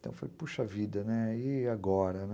Então eu falei, puxa vida, e agora, né.